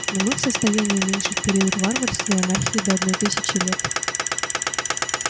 но мы в состоянии уменьшить период варварства и анархии до одной тысячи лет